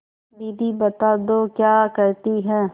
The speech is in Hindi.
दीदी बता दो क्या कहती हैं